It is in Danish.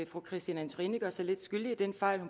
fru christine antorini gør sig lidt skyldig i den fejl